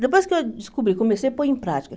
Depois que eu descobri, comecei a pôr em prática.